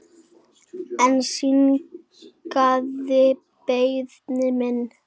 Hann synjaði beiðni minni.